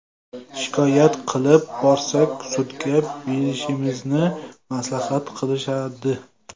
Shikoyat qilib borsak, sudga berishimizni maslahat qilishadi.